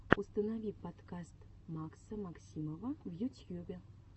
установи подкаст макса максимова в ютьюбе